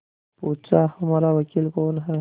पूछाहमारा वकील कौन है